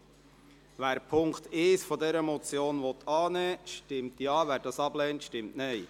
Wer den Punkt 1 dieser Motion annehmen will, stimmt Ja, wer dies ablehnt, stimmt Nein.